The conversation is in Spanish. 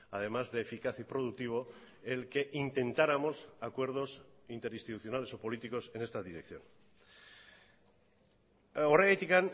además de eficaz y productivo el que intentáramos acuerdos interinstitucionales o políticos en esta dirección horregatik